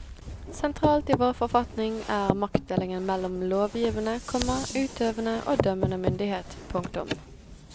Sentralt i vår forfatning er maktdelingen mellom lovgivende, komma utøvende og dømmende myndighet. punktum